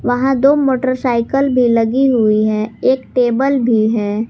वहां दो मोटरसाइकल भी लगी हुई है एक टेबल भी है।